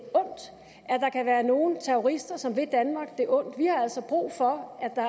ondt at være nogle terrorister som vil danmark det ondt vi har altså brug for at